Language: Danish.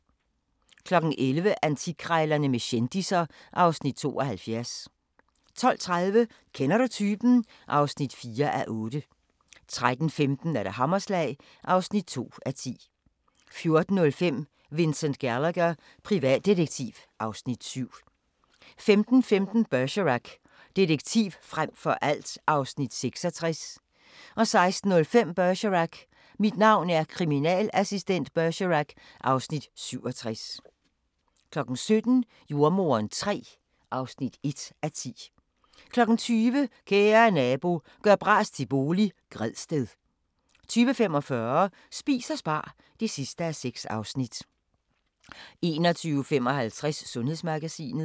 11:00: Antikkrejlerne med kendisser (Afs. 72) 12:30: Kender du typen? (4:8) 13:15: Hammerslag (2:10) 14:05: Vincent Gallagher, privatdetektiv (Afs. 7) 15:15: Bergerac: Detektiv frem for alt (Afs. 66) 16:05: Bergerac: Mit navn er kriminalassistent Bergerac (Afs. 67) 17:00: Jordemoderen III (1:10) 20:00: Kære nabo – gør bras til bolig - Gredsted 20:45: Spis og spar (6:6) 21:55: Sundhedsmagasinet